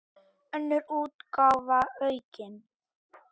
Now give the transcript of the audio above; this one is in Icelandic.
Önnur útgáfa, aukin.